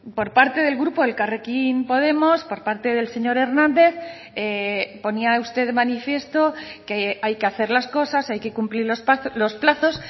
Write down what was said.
por parte del grupo elkarrekin podemos por parte del señor hernández ponía usted de manifiesto que hay que hacer las cosas hay que cumplir los plazos